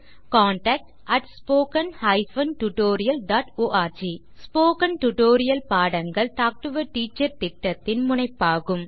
contact at spoken hyphen tutorial dot org spoken tutorial பாடங்கள் talk to a teacher திட்டத்தின் முனைப்பாகும்